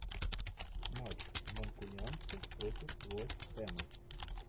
матч манкунианцы против вест хэма